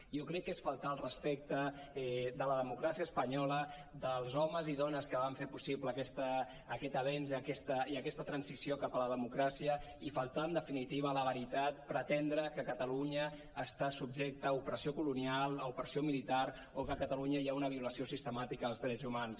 jo crec que és faltar al respecte a la democràcia espanyola als homes i dones que van fer possible aquest avenç i aquesta transició cap a la democràcia i faltar en definitiva a la veritat pretendre que catalunya està subjecta a opressió colonial a opressió militar o que a catalunya hi ha una violació sistemàtica dels drets humans